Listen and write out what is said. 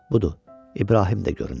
Budur, İbrahim də göründü.